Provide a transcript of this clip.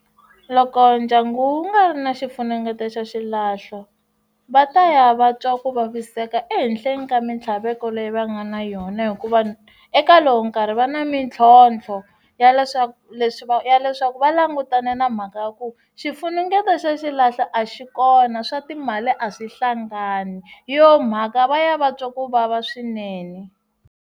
Loko ndyangu wu nga ri na xifunengeto xa xilahlo va ta ya va twa ku vaviseka ehenhleni ka mitlhaveko leyi va nga na yona hikuva eka lowu nkarhi va na mitlhotlho ya leswaku leswi va ya leswaku va langutane na mhaka ya ku xifunengeto xa xilahlo a xi kona swa timali a swi hlangani yona mhaka va ya va twa ku vava swinene.